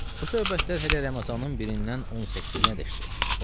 Bu söhbətlər hələ Ramazanının 1-dən 18-ə qədərdir.